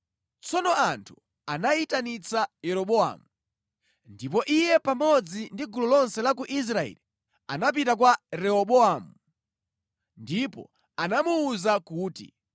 Tsono anthu anayitanitsa Yeroboamu, ndipo iye pamodzi ndi gulu lonse la ku Israeli anapita kwa Rehobowamu ndipo anamuwuza kuti,